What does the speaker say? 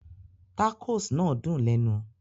Tacos náà dùn lẹ́nu